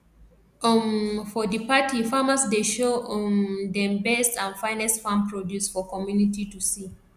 um for di party farmers dey show um dem best and finest farm produce for community to see